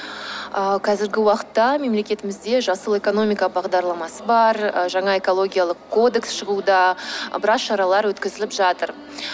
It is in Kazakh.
ыыы қазіргі уақытта мемлекетімізде жасыл экономика бағдарламасы бар і жаңа экологиялық кодекс шығуда біраз шаралар өткізіліп жатыр